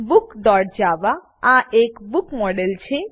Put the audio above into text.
bookજાવા આ એક book book model છે